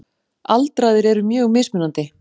Aldraðir eru mjög mismunandi.